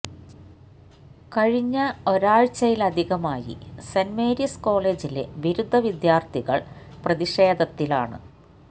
കഴിഞ്ഞ ഒരാഴ്ചയായിലധികമായി Saint Mary's കോളേജിലെ ബിരുദ വിദ്യാര്ത്ഥികള് പ്രതിഷേധത്തിലാണ്